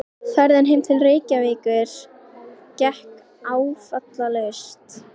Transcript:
Ferðin heim til Reykjavíkur gekk áfallalaust.